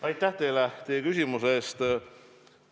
Aitäh teile küsimuse eest!